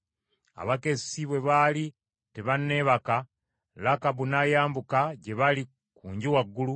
Abakessi bwe baali tebanneebaka, Lakabu n’ayambuka gye baali ku nju waggulu